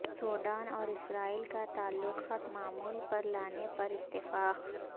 Sudan اور Israel کا تعلقات معمول پر لانے پر اتفاق